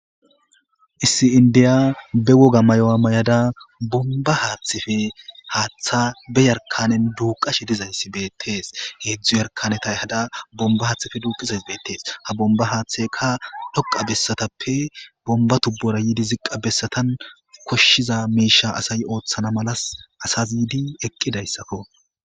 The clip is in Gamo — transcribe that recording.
Issi inddiya be woga mayo mayadaBonba haaththa be Yarkaneti duuqqashe dizayssa betees. Hedzu Yarkaneti Ehada bonba hathe Duqizaysi Betes Ha bonba hatheyka dhoqa besatape bonba tubora Besatan koshiza Misha asay othana mala asas yidi Eqidaysako